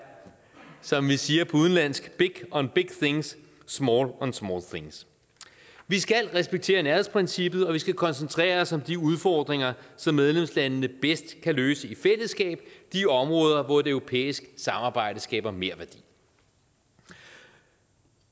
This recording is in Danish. som vi siger på udenlandsk big on big things small on small things vi skal respektere nærhedsprincippet og vi skal koncentrere os om de udfordringer som medlemslandene bedst kan løse i fællesskab de områder hvor et europæisk samarbejde skaber merværdi når